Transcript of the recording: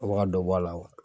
O bɛ ka dɔ bɔ a la